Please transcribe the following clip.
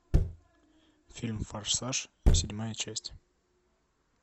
фильм форсаж седьмая часть